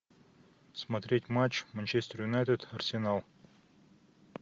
смотреть матч манчестер юнайтед арсенал